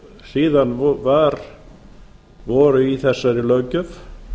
síðan voru í þessari löggjöf